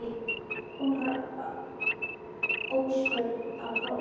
Hún var óspör á hrós.